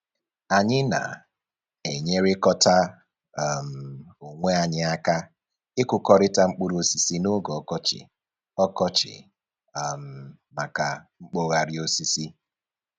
Anyị na-enyerịkọta um onwe anyị aka ịkụkọrịta mkpụrụ osisi n'oge ọkọchị ọkọchị um maka mkpọgharị osisi